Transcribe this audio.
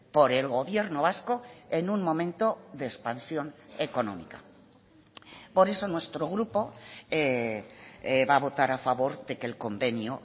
por el gobierno vasco en un momento de expansión económica por eso nuestro grupo va a votar a favor de que el convenio